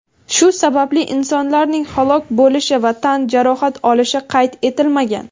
Shu sababli insonlarning halok bo‘lishi va tan jarohat olishi qayd etilmagan.